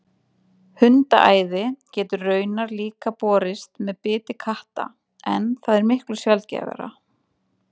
hundaæði getur raunar líka borist með biti katta en það er miklu sjaldgæfara